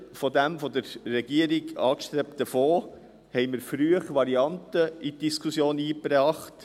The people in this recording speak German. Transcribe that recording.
Anstelle des von der Regierung angestrebten Fonds, haben wir früh Varianten in die Diskussion eingebracht.